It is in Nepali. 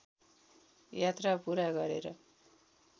यात्रा पूरा गरेर